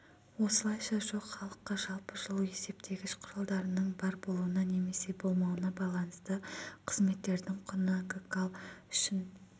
осылайша жоқ халыққа жалпы жылу есептегіш құралдарының бар болуына немесе болмауына байланысты қызметтердің құны гкал үшінт